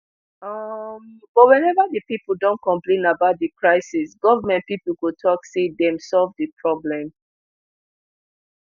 um but wenever di pipo don complain about di crisis goment pipo go tok say dem solve di problem